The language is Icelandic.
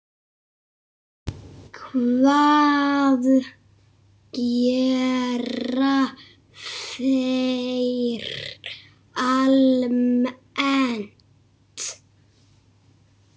Hvað gera þeir almennt?